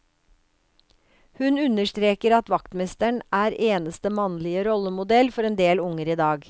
Hun understreker at vaktmesteren er eneste mannlige rollemodell for en del unger i dag.